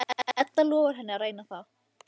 Edda lofar henni að reyna það.